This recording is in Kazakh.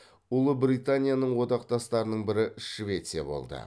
ұлыбританияның одақтастарының бірі швеция болды